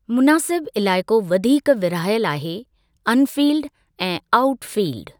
मुनासिब इलाइक़ो वधीक विरहायल आहे 'अनफ़ील्ड' ऐं 'आऊट फ़ील्ड'।